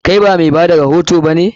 Kai ba mai bada rahoto ba ne?